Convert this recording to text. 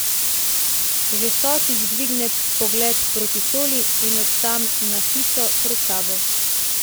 Že stotič dvigne pogled proti šoli in od tam na hišo pred sabo.